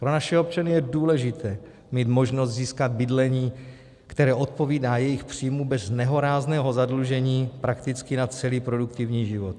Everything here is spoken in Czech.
Pro naše občany je důležité mít možnost získat bydlení, které odpovídá jejich příjmu bez nehorázného zadlužení prakticky na celý produktivní život.